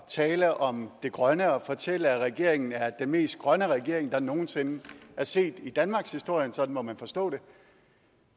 tale om det grønne og fortælle at regeringen er den mest grønne regering der nogen sinde er set i danmarkshistorien sådan må man forstå det